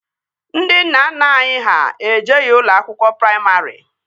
Ndị nna nna anyị ha ejeghi ụlọ akwụkwọ praimarị